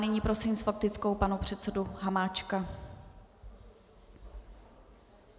Nyní prosím s faktickou pana předsedu Hamáčka.